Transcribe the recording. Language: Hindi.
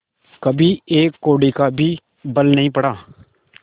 कभी एक कौड़ी का भी बल नहीं पड़ा